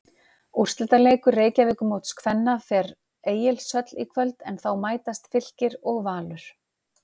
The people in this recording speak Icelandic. Úrslitaleikur Reykjavíkurmóts kvenna fer Egilshöll í kvöld en þá mætast Fylkir og Valur.